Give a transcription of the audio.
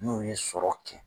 Mun ye sɔrɔw kɛ